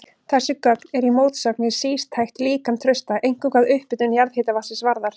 Þessi gögn eru í mótsögn við sístætt líkan Trausta, einkum hvað upphitun jarðhitavatnsins varðar.